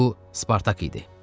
Bu Spartak idi.